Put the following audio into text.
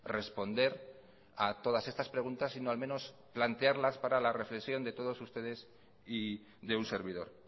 responder a todas estas preguntas sino al menos plantearlas para la reflexión de todos ustedes y de un servidor